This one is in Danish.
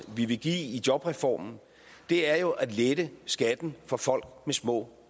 vi vil give i jobreformen er jo at lette skatten for folk med små